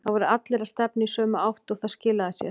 Það voru allir að stefna í sömu átt og það skilaði sér.